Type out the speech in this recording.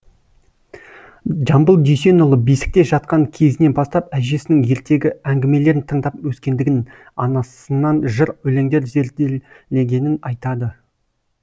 жамбыл дүйсенұлы бесікте жатқан кезінен бастап әжесінің ертегі әңгімелерін тыңдап өскендігін анасынан жыр өлеңдер зерделегенін айтады